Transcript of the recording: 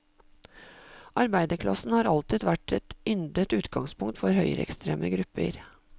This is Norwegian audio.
Arbeiderklassen har alltid vært et yndet utgangspunkt for høyreekstreme grupper.